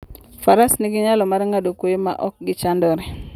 Faras nigi nyalo mar ng'ado kwoyo ma ok gichandore.